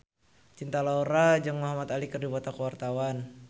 Cinta Laura jeung Muhamad Ali keur dipoto ku wartawan